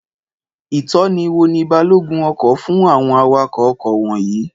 Ìtọ́ni wo ni balógun ọkọ̀ fún àwọn awakọ̀ ọkọ̀ wọ̀nyìí?